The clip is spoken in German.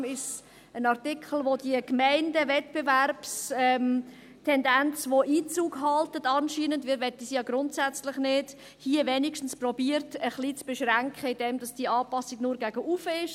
Deshalb ist es ein Artikel, der diese Gemeindewettbewerbstendenz, die anscheinend Einzug hält – wir wollen dies ja grundsätzlich nicht –, hier wenigstens ein bisschen zu beschränken versucht, indem diese Anpassung nur nach oben möglich ist.